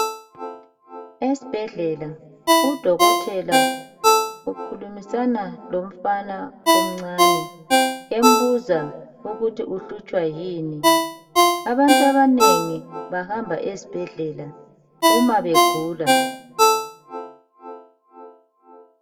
Esibhedlela udokotela ukhulumisana lomfana omncani embuza ukuthi uhlutshwa yini abantu abanengi bahamba esbhedlela uma begula.